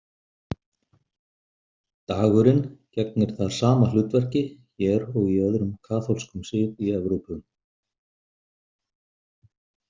Dagurinn gegnir þar sama hlutverki hér og í öðrum kaþólskum sið í Evrópu.